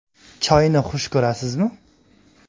Choyni xush ko‘rasizmi?